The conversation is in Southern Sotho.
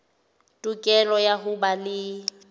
tokelo ya ho ba le